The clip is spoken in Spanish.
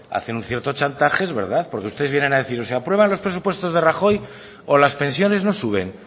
hacen un cierto chantaje es verdad porque ustedes vienen a decir o se aprueban los presupuestos de rajoy o las pensiones no suben